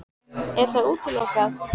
Er það útilokað?